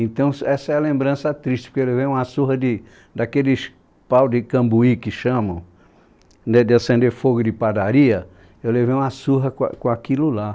Então s essa é a lembrança triste, porque eu levei uma surra de, daqueles pau de cambuí que chamam, né de acender fogo de padaria, eu levei uma surra com a com aquilo lá.